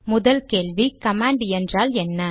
முதல் கேள்வி கமாண்ட் என்றால் என்ன